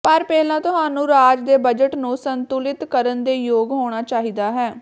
ਪਰ ਪਹਿਲਾਂ ਤੁਹਾਨੂੰ ਰਾਜ ਦੇ ਬਜਟ ਨੂੰ ਸੰਤੁਲਿਤ ਕਰਨ ਦੇ ਯੋਗ ਹੋਣਾ ਚਾਹੀਦਾ ਹੈ